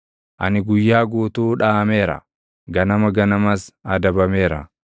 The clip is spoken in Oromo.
Ani guyyaa guutuu dhaʼameera; ganama ganamas adabameera.